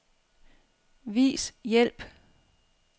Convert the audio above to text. Vis hjælp.